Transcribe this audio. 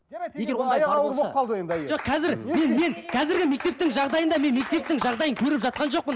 қазіргі мектептің жағдайында мен мектептің жағдайын көріп жатқан жоқпын